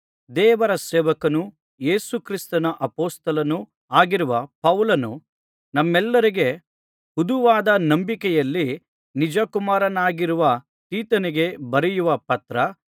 ದೇವರ ಸೇವಕನೂ ಯೇಸು ಕ್ರಿಸ್ತನ ಅಪೊಸ್ತಲನೂ ಆಗಿರುವ ಪೌಲನು ನಮ್ಮೆಲ್ಲರಿಗೆ ಹುದುವಾದ ನಂಬಿಕೆಯಲ್ಲಿ ನಿಜಕುಮಾರನಾಗಿರುವ ತೀತನಿಗೆ ಬರೆಯುವ ಪತ್ರ